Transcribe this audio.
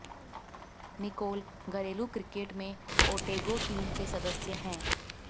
Nicol घरेलू cricket में Otago team के सदस्य हैं